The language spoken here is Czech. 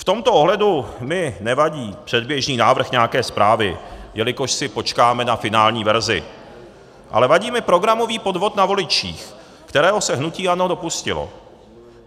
V tomto ohledu mi nevadí předběžný návrh nějaké zprávy, jelikož si počkáme na finální verzi, ale vadí mi programový podvod na voličích, kterého se hnutí ANO dopustilo.